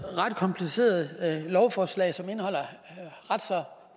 ret kompliceret lovforslag som indeholder ret så